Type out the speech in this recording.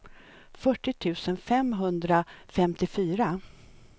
fyrtio tusen femhundrafemtiofyra